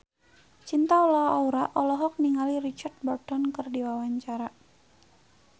Cinta Laura olohok ningali Richard Burton keur diwawancara